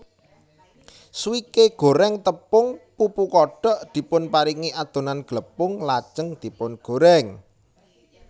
Swike goreng tepung pupu kodok dipunparingi adonan glepung lajeng dipungorèng